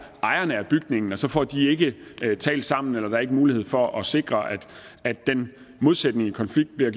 ejerne af bygningen og så får de ikke talt sammen eller der er ikke mulighed for at sikre at den modsatrettede konflikt bliver